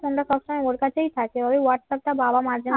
মধ্যা কথা ওর কাছেই থাকে ওই হোয়াটসঅ্যাপ টা বাবা মাঝে মাঝে